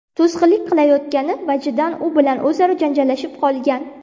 to‘sqinlik qilayotgani vajidan u bilan o‘zaro janjallashib qolgan.